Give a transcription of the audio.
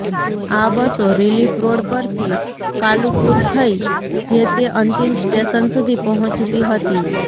આ બસો રિલીફરોડ પરથી કાલુપુર થઈ જે તે અંતિમ સ્ટેશન સુધી પહોંચતી હતી